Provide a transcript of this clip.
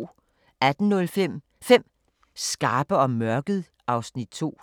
18:05: 5 skarpe om mørket (Afs. 2)